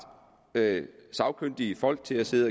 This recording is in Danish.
sagkyndige folk til at sidde